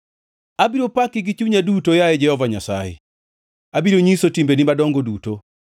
Abiro paki gi chunya duto, yaye Jehova Nyasaye; abiro nyiso timbegi madongo duto.